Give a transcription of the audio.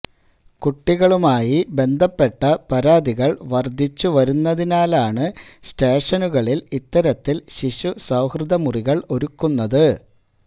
കുട്ടികളുമായി ബന്ധപ്പെട്ട പരാതികള് വര്ധിച്ചുവരുന്നതിനാലാണ് സ്റ്റേഷനുകളില് ഇത്തരത്തില് ശിശുസൌഹൃദ മുറികള് ഒരുക്കുന്നത്